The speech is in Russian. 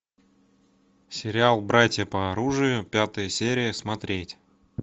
сериал братья по оружию пятая серия смотреть